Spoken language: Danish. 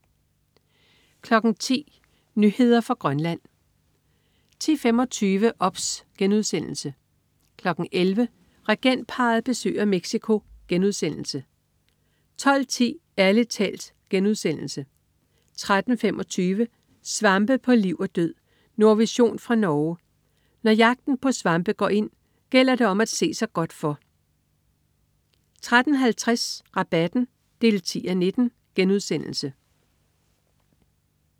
10.00 Nyheder fra Grønland 10.25 OBS* 11.00 Regentparret besøger Mexico* 12.10 Ærlig talt* 13.25 Svampe på liv og død. Nordvision fra Norge. Når jagten på svampe går ind, gælder det om at se sig godt for 13.50 Rabatten 10:19*